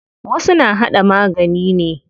Wasu na haɗa magani ne.